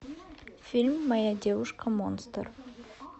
фильм моя девушка монстр